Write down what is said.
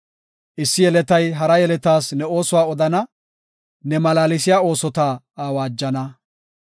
Issi yeletay hara yeletas ne oosuwa odana; ne malaalsiya oosota awaajana.